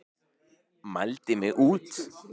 Mældi mig út.